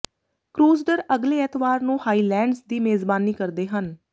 Crusader ਅਗਲੇ ਐਤਵਾਰ ਨੂੰ ਹਾਈਲੈਂਡਜ਼ ਦੀ ਮੇਜ਼ਬਾਨੀ ਕਰਦੇ ਹਨ